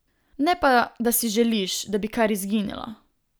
Ne pa da si želiš, da bi kar izginilo.